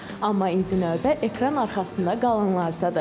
Amma indi növbə ekran arxasında qalanlardadır.